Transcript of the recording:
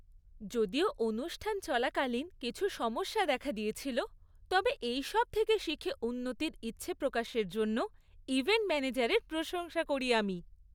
যদিও অনুষ্ঠান চলাকালীন কিছু সমস্যা দেখা দিয়েছিল, তবে এইসব থেকে শিখে উন্নতির ইচ্ছাপ্রকাশের জন্য ইভেন্ট ম্যানেজারের প্রশংসা করি আমি।